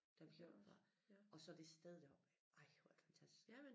Da vi kørte derfra og så det sted deroppe ej hvor er det fantastisk